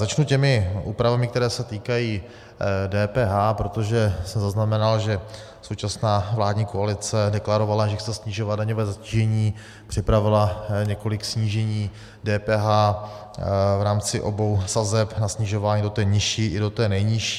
Začnu těmi úpravami, které se týkají DPH, protože jsem zaznamenal, že současná vládní koalice deklarovala, že chce snižovat daňové zatížení, připravila několik snížení DPH v rámci obou sazeb, na snižování do té nižší, i do té nejnižší.